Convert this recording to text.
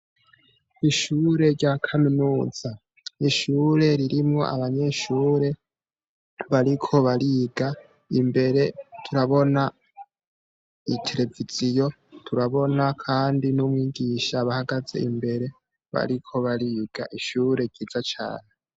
Ishure ryakaminuza nishure ririmwo abanyeshure bariko bariga imbere turabina itereviziyo turabona kandi numwigisha ahahagaze imbere bariko bariga ishure biga cane